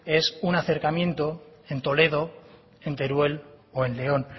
es un acercamiento en toledo en teruel o en león